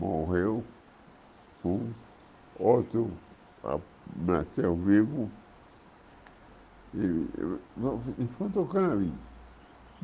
morreu um, outro nasceu vivo, e e foi tocando a vida.